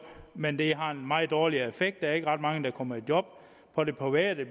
men at det har en meget dårlig effekt der er ikke ret mange der kommer i job på det private